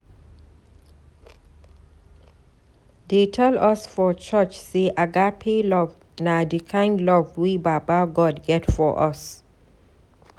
Dey tell us for church sey agape love na di kind love wey baba God get for us.